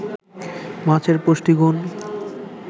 মাছের পুষ্টিগুণ